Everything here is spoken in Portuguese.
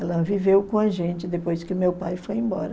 Ela viveu com a gente depois que meu pai foi embora.